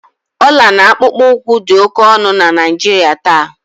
ọla na akpụkpọ ụkwụ dị oke ọnụ na Naijiria taa